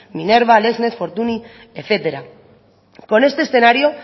minerva lexnet fortuny etcétera con este escenario